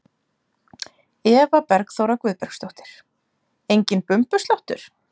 Eva Bergþóra Guðbergsdóttir: Enginn bumbusláttur?